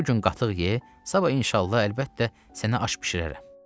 Bu gün qatıq ye, sabah inşallah əlbəttə sənə aş bişirərəm.